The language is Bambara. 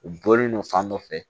U bɔlen don fan dɔ fɛ